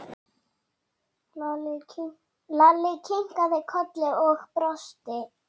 Lalli kinkaði kolli og brosti.